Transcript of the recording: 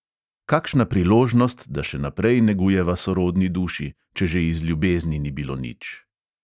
Kakšna priložnost, da še naprej negujeva sorodni duši – če že iz ljubezni ni bilo nič!